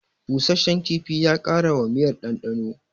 Busasshen kifin ya ƙara wa miyar ɗanɗano